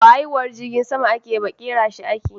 Ba haiwuhar jirgin sama ake yi ba, kera shi ake.